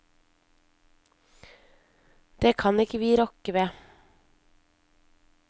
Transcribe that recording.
Det kan ikke vi rokke ved.